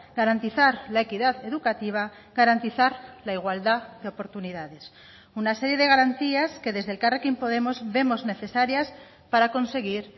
garantizar la equidad educativa garantizar la igualdad de oportunidades una serie de garantías que desde elkarrekin podemos vemos necesarias para conseguir